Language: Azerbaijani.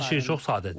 Hər şey çox sadədir.